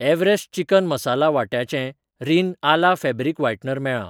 Everest chicken masala वांट्याचें Rin अला fabric whitener मेळ्ळां.